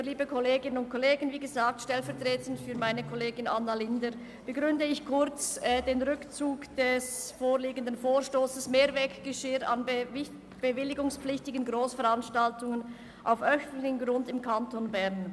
Ich begründe, wie gesagt, stellvertretend für meine Kollegin Anna Linder den Rückzug des vorliegenden Vorstosses «Mehrweggeschirr an bewilligungspflichtigen Grossveranstaltungen auf öffentlichem Grund im ganzen Kanton Bern».